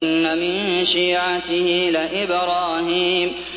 ۞ وَإِنَّ مِن شِيعَتِهِ لَإِبْرَاهِيمَ